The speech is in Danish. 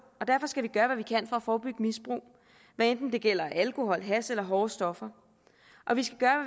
og derfor skal vi gøre hvad vi kan for at forebygge misbrug hvad enten det gælder alkohol hash eller hårde stoffer og vi skal gøre